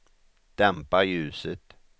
dämpa ljuset